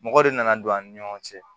Mɔgɔ de nana don an ni ɲɔgɔn cɛ